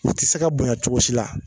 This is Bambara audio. I ti se ka bonya cogo si la